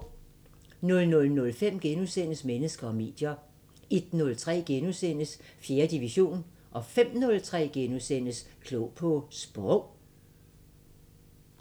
00:05: Mennesker og medier * 01:03: 4. division * 05:03: Klog på Sprog *